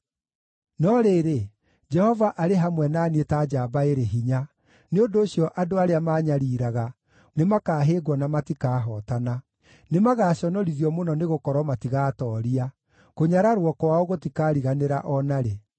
No rĩrĩ, Jehova arĩ hamwe na niĩ ta njamba ĩrĩ hinya; nĩ ũndũ ũcio andũ arĩa maanyariiraga nĩmakahĩngwo na matikahootana. Nĩmagaconorithio mũno nĩgũkorwo matigaatooria; kũnyararwo kwao gũtikariganĩra o na rĩ.